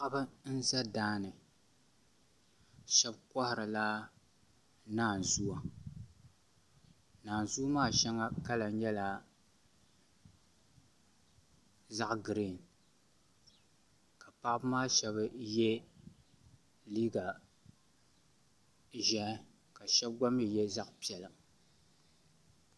Paɣaba n ʒɛ daani shab koharila naanzuwa naanzuu maa shɛli kala nyɛla zaɣ giriin ka paɣaba maa shab yɛ liiga ʒiɛhi ka shab gba mii yɛ zaɣ piɛla